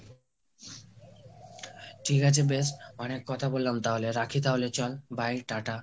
ঠিক আছে বেশ, অনেক কথা বললাম তাহলে রাখি তাহলে। চল bye টা টা।